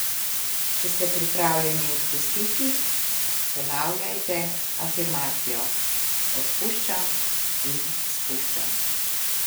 Če ste pripravljeni odpustiti, ponavljajte afirmacijo: "Odpuščam in spuščam.